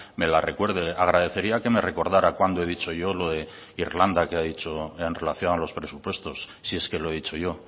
me la recuerde agradecería que me recordara cuando he dicho yo lo de irlanda que ha dicho en relación a los presupuestos si es que lo he dicho yo